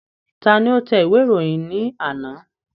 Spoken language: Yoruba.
Ta ni ó tẹ ìwé ìròyìn ní àná?